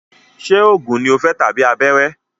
Ṣé oògùn ní o fẹ́ tàbí abẹ́rẹ́?